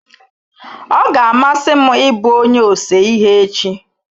Ọ ga-amasị m ị bụ onye ose ihe echi.